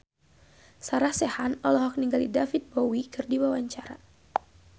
Sarah Sechan olohok ningali David Bowie keur diwawancara